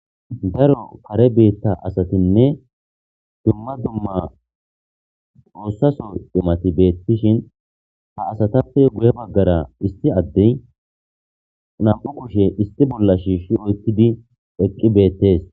Daro kaare bita asatinne dumma dumma tsosa Soo cimatti betishshinn haa asatappe guye bagara issi adeyi nam''u kushshe issi bolla shishshi oyikkidi eqqi betees .